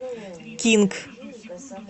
кинг